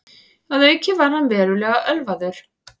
Að auki var hann verulega ölvaður